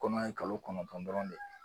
Kɔnɔ ye kalo kɔnɔntɔn dɔrɔn de ye